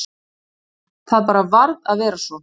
Það bara varð að vera svo.